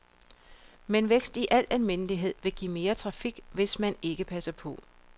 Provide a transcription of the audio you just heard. Men vækst i al almindelighed vil give mere trafik, hvis man ikke passer på.